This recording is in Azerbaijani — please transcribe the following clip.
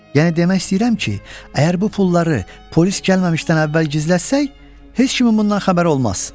Yəni demək istəyirəm ki, əgər bu pulları polis gəlməmişdən əvvəl gizlətsək, heç kimin bundan xəbəri olmaz.”